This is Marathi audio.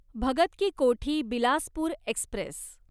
भगत की कोठी बिलासपूर एक्स्प्रेस